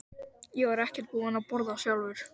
Ég var ekkert búinn að borða sjálfur.